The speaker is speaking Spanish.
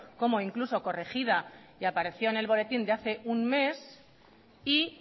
como incluso corregida y apareció en el boletín de hace un mes y